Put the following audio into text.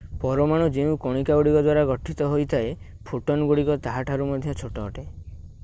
ପରମାଣୁ ଯେଉଁ କଣିକାଗୁଡ଼ିକ ଦ୍ୱାରା ଗଠିତ ହୋଇଥାଏ ଫୋଟନ୍‌ଗୁଡ଼ିକ ତାହାଠାରୁ ମଧ୍ୟ ଛୋଟ ଅଟେ!